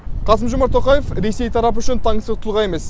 қасым жомарт тоқаев ресей тарапы үшін таңсық тұлға емес